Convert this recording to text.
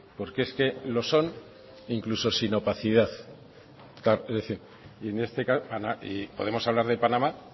porque es que lo son incluso sin opacidad claro y en este caso podemos hablar de panamá